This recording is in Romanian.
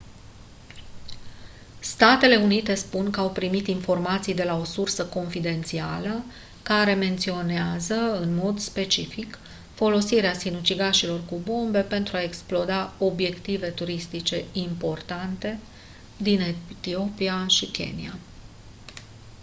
statele unite spun că au primit informații de la o sursă confidențială care menționează în mod specific folosirea sinucigașilor cu bombe pentru a exploda «obiective turistice importante» din etiopia și kenia.